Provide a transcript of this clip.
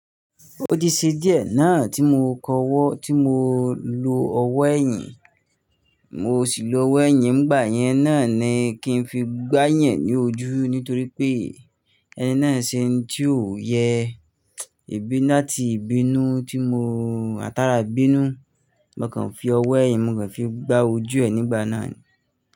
Ó ti ṣe díẹ̀ náà tí mo kọ ọwọ́, tí mo lo ọwọ́ ẹ̀yìn, mo sì lo ọwọ́ ẹ̀yìn, ngbà yẹn náà ni kí n fi gbáyan ní ojú nítorí pé ẹni náà ṣe oun tí ò yẹ èbí láti ìbínú tí mo átara bínu. Mo kàn fi ọwọ́ ẹ̀yìn mo kàn fi gbá ojú ẹ̀ nígbà náà ni.